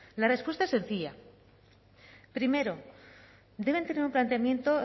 la respuesta es sencilla primero deben tener un planteamiento